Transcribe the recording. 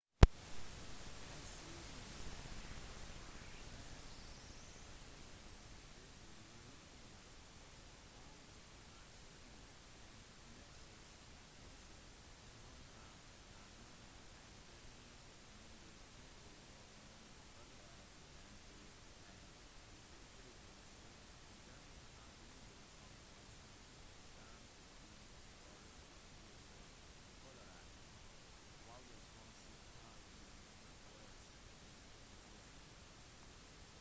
helt siden den føderale regjeringen tok over finansiering av mersey-sykehuset i devonhavn tasmania har statlige myndigheter og noen føderale mp-er kritisert denne handlingen som et stunt i forløpet til det føderale valget som skal gjennomføres i november